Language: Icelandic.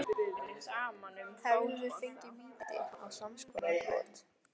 Hefðum við fengið víti á samskonar brot?